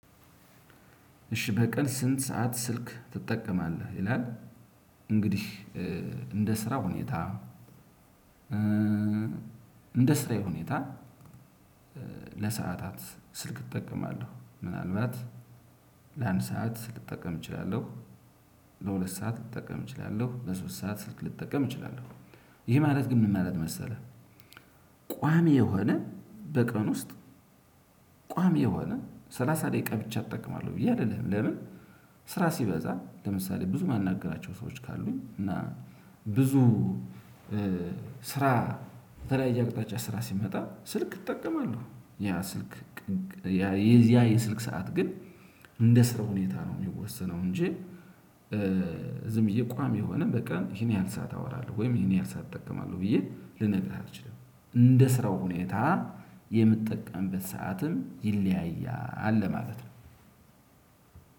እሽ በቀን ስንት ሰዓት ስልክ ትጠቀማለህ ይላል? እንግዲህ እንደ ስራ ሁኔታ እንደ ስራዬ ሁኔታ ለሰአታት ስልክ እጠቀማለው ምናልባት ለአንድ ሰዓት ስልክ ልጠቀም እችላለሁ ለሁለት ሰዓት ልጠቀም እችላለሁ ለሶስት ሰዓት ስልክ ልጠቀም እችላለሁ። ይሄ ማለት ግን ምን ማለት መሰለህ? ቋሚ የሆነ በቀን ውስጥ ቋሚ የሆነ ስላሳ ደቂቃ ብቻ እጠቀማለሁ ብዬ አልልህም። ለምን ስራ ሲበዛ ለምሳሌ ብዙ የማናግራቸው ሰዎች ካሉኝ እና ብዙ ስራ ከተለያዬ አቅጣጫ ስራ ሲመጣ ስልክ እጠቀማለው። የዚያ የስልክ ሰዓት ግን እንደ ስራው ሁኔታ ነው የሚወሰነው። እንጂ ዝም ብዬ ቋሚ የሆነ በቀን ይሄን ያህል ሰዓት አወራለሁ ወይም ይሄን ያህል ሰዓት እጠቀማለሁ ብዬ ልነግርህ አልችልም። እንደ ስራው ሁኔታ የምጠቀምበት ሰዓትም ይለያያል ለማለት ነው።